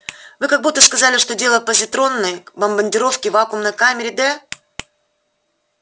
вы как будто сказали что дело в позитронной бомбардировке в вакуумной камере д